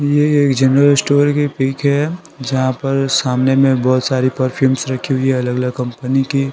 ये एक general store की पीक है जहां पर सामने में बहुत सारी परफ्यूम्स रखी हुई है अलग-अलग कंपनी की---